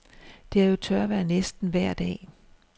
Det er jo tørvejr næsten vejr dag.